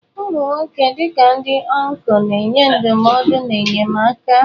Ụmụ nwoke, dị ka ndị ọncụl, na-enye ndụmọdụ na enyemaka.